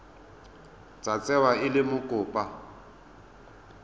tla tsewa e le mokopa